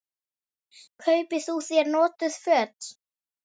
Kaupi þú þér notuð föt?